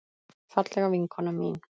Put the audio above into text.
Fallega vinkona mín.